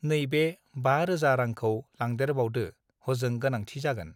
नैबे बा रेजा रांखौ लांदेरबावदो हजों गोनांथि जागोन